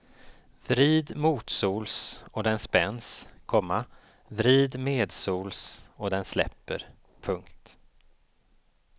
Vrid motsols och den spänns, komma vrid medsols och den släpper. punkt